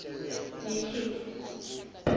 nekhefu